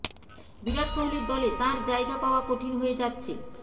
বিরাট কোহলির দলে তাঁর জায়গা পাওয়া কঠিন হয়ে যাচ্ছে